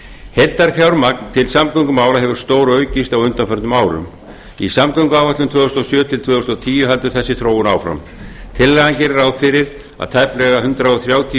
heildarfjármagn til samgöngumála hefur stóraukist á undanförnum árum í samgönguáætlun tvö þúsund og sjö til tvö þúsund og tíu heldur þessi þróun áfram tillagan gerir ráð fyrir að tæplega hundrað þrjátíu